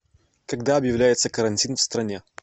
когда объявляется карантин в стране